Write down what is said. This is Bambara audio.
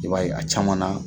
I b'a ye a caman na